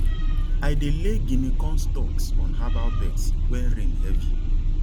i dey lay guinea corn stalks on herbal beds when rain heavy